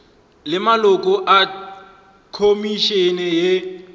le maloko a khomišene ye